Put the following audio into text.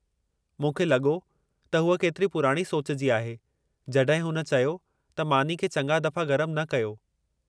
मूंखे लॻो त हूअ केतिरी पुराणी सोच जी आहे, जॾहिं हुन चयो त मानी खे चङा दफ़ा गरमु न कयो।